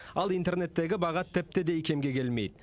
ал интернеттегі баға тіпті де икемге келмейді